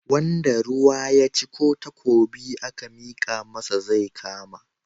Wanda ruwa ya ci ko takobi aka mika masa zai kama.